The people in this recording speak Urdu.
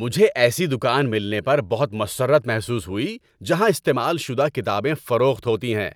مجھے ایسی دکان ملنے پر بہت مسرت محسوس ہوئی جہاں استعمال شدہ کتابیں فروخت ہوتی ہیں۔